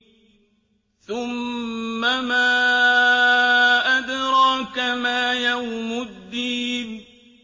ثُمَّ مَا أَدْرَاكَ مَا يَوْمُ الدِّينِ